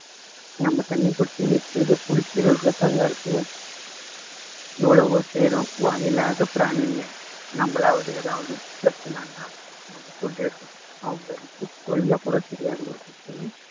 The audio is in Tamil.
நம்ம தண்ணி புடிச்சு வைக்கிறதை குடிக்குறதுலதாங்க இருக்கு எவ்வளவோ செய்யுறோம் வாய் இல்லாத பிராணிங்க நம்மளாவது எதாவது பிரச்சினைன்னா நம்ம சொல்லிடுறோம் அவங்களுக்கு சொல்லக்கூட தெரியாது ஒரு பிரச்சனையும்